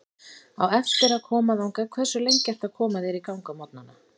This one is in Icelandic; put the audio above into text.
Á eftir að koma þangað Hversu lengi ertu að koma þér í gang á morgnanna?